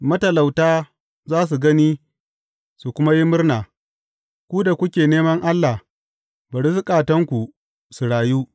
Matalauta za su gani su kuma yi murna, ku da kuke neman Allah, bari zukatanku su rayu!